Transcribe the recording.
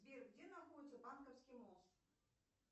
сбер где находится банковский мост